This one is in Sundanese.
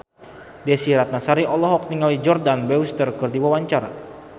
Desy Ratnasari olohok ningali Jordana Brewster keur diwawancara